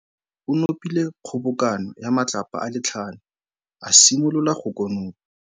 Morwa wa gagwe o nopile kgobokanô ya matlapa a le tlhano, a simolola go konopa.